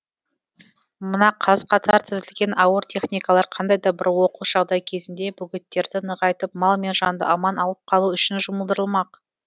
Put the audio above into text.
мына қаз қатар тізілген ауыр техникалар қандай да бір оқыс жағдай кезінде бөгеттерді нығайтып мал мен жанды аман алып қалу үшін жұмылдырылмақ